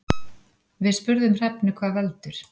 Við spurðum Hrefnu hvað veldur.